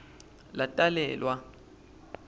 latalelwa